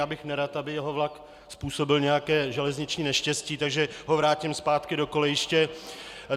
Já bych nerad, aby jeho vlak způsobil nějaké železniční neštěstí, takže ho vrátím zpátky do kolejiště.